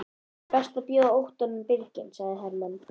Það er best að bjóða óttanum birginn, sagði Hermann.